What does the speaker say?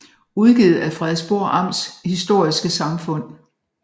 Udgivet af Frederiksborg Amts Historiske Samfund